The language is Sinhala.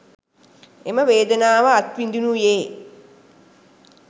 එම වේදනාව අත්විඳීනුයේ